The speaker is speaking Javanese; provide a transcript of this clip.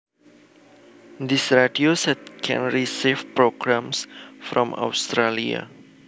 This radio set can receive programs from Australia